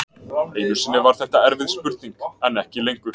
Einu sinni var þetta erfið spurning en ekki lengur.